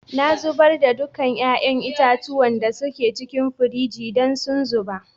Na zubar da dukan yayan itatuwan da da suke cikin firiji dan sun ruba.